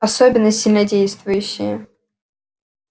особенно сильнодействующие